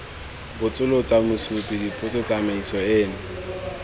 botsolotsa mosupi dipotso tsamaiso eno